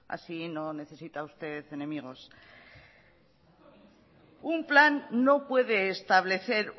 así no necesita usted enemigos un plan no puede establecer